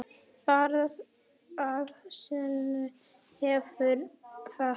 Borð að sönnu hefur fat.